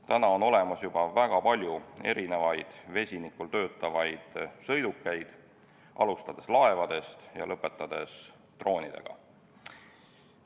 Täna on olemas juba väga palju erisuguseid vesiniku jõul töötavaid sõidukeid, alustades laevadest ja lõpetades droonidega.